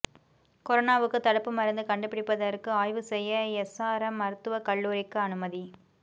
கொரோனாவுக்கு தடுப்பு மருந்து கண்டுபிடிப்பதற்கு ஆய்வு செய்ய எஸ்ஆர்எம் மருத்துவக்கல்லூரிக்கு அனுமதி